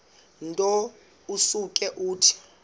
nto usuke uthi